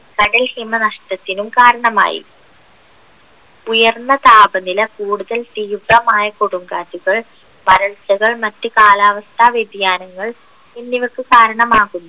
കടൽ ഹിമ നഷ്ടത്തിനും കാരണമായി ഉയർന്ന താപനില കൂടുതൽ തീവ്രമായ കൊടുംകാറ്റുകൾ വരൾച്ചകൾ മറ്റ് കാലാവസ്ഥ വ്യതിയാനങ്ങൾ എന്നിവക്ക് കാരണമാകുന്നു